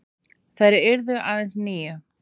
Þær yrðu aðeins níu.